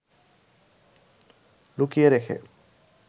লুকিয়ে রেখে